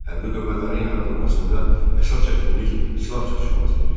Hərbi qüvvələrin yaradılmasında əsas çətinlik silah çatışmazlığı idi.